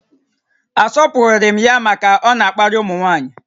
A sọpụghịrị m ya màkà na ọ na-akparị ụmụnwaanyi